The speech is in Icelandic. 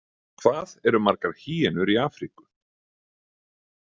Hvað eru margar hýenur í Afríku?